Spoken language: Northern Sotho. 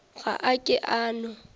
ga a ke a no